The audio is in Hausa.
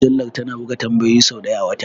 Mujallar tana buga tambayoyin sau ɗaya a wata?